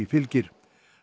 fylgir